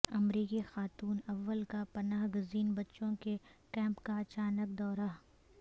امریکی خاتون اول کا پناہ گزین بچوں کے کیمپ کا اچانک دورہ